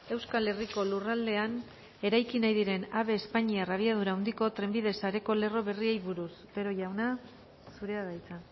euskal herriko lurraldean eraiki nahi diren ave espainiar abiadura handiko trenbide sareko lerro berriei buruz otero jauna zurea da hitza